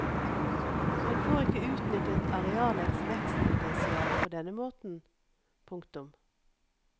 En får ikke utnyttet arealets vekstpotensiale på denne måten. punktum